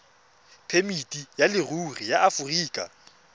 phemiti ya leruri ya aforika